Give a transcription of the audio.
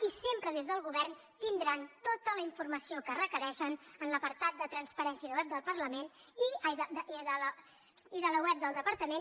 i sempre des del govern tindran tota la informació que requereixen en l’apartat de transparència i de la web del departament